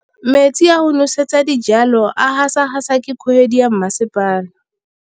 Metsi a go nosetsa dijalo a gasa gasa ke kgogomedi ya masepala.